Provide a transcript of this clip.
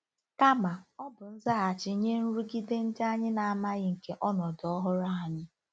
Kama, ọ bụ nzaghachi nye nrụgide ndị anyị na-amaghị nke ọnọdụ ọhụrụ anyị. ”